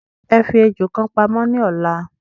Ẹ fi ejò kan pamó ní ọ̀la